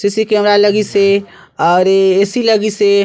CC camera लगिस हे और ए ऐ सी लगिस हे।